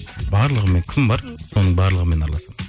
барлығымен кім бар соның барлығымен араласамын